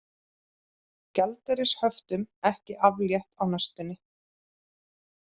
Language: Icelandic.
Gjaldeyrishöftum ekki aflétt á næstunni